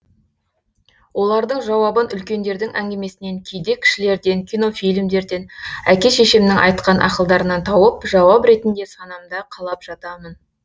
олардың жауабын үлкендердің әңгімесінен кейде кішілерден кинофильмдерден әке шешемнің айтқан ақылдарынан тауып жауап ретінде санамда қалап жатамын